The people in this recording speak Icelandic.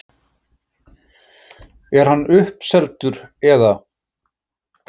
Er hann uppseldur eða?